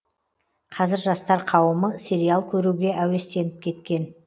қазір жастар қауымы сериал көруге әуестеніп кеткен